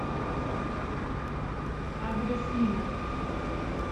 адрес нина